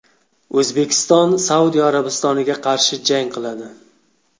O‘zbekiston Saudiya Arabistoniga qarshi jang qiladi.